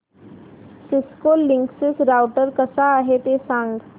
Cisco Linksys router कसा आहे ते सांग